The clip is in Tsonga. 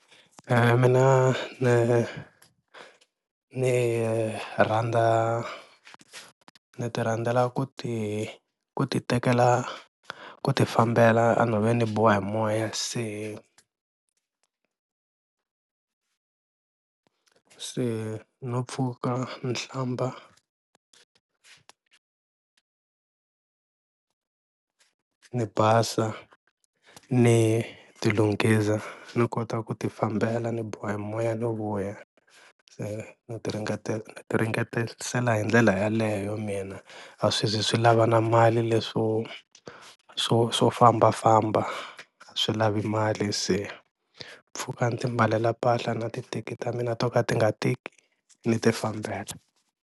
Mina ni ni rhandza ni ti rhandzela ku ti ku ti tekela ku ti fambela enhoveni ni biwa hi moya se se no pfuka ni hlamba ni basa ni ti lunghisa ni kota ku ti fambela ni biwa hi moya no vuya, se ni ti ni ti ringetelisela hi ndlela yeleyo mina a swi zi swi lava na mali leswo swo swo fambafamba, a swi lavi mali se mpfhuka ni ti mbalela mpahla na ti teki ta mina to ka ti nga tiki ni ti fambela.